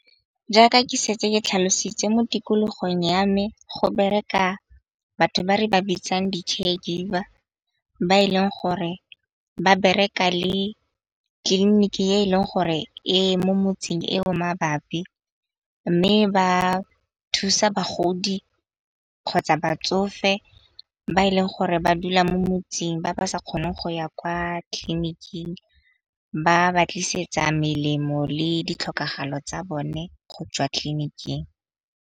Jaaka ke setse ke tlhalositse mo tikologong ya me go bereka batho ba re ba bitsang di . Ba e leng gore ba bereka le tliliniki e leng gore e mo motseng eo mabapi mme ba thusa bagodi kgotsa batsofe ba e leng gore ba dula mo motseng ba ba sa kgoneng go ya kwa tleliniking. Ba ba tlisetsa melemo le ditlhokego tsa bone go tswa tleliniking.